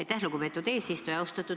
Aitäh, lugupeetud eesistuja!